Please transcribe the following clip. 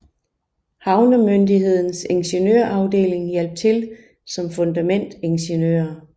Havnemyndighedens ingeniørafdeling hjalp til som fundamentingeniører